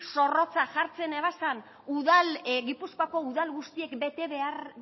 zorrotzak jartzen ebazan gipuzkoako udal guztiek